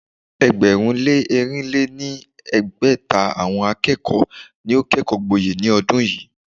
ẹgbẹ̀rún lé ẹ́rìn lé ní ẹgbẹ́ta àwọn akẹ́kọ̀ọ́ ni ó kẹ́kọ̀ọ́ gboyè ní ọdún yìí.